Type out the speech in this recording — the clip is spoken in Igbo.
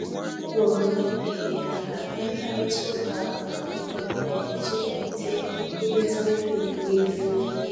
Ọ kpọrọ ndị ọrụ ibe ya ka ha nwee mkparịta ụka kọfị dị mfe iji kwalite nkwurịta okwu n’efu.